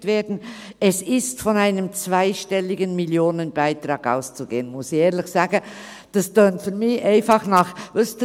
] gerechnet werden», es «ist von einem zweistelligen Millionenbetrag auszugehen», muss ich ehrlich sagen, dass es für mich nach wissen Sie was tönt?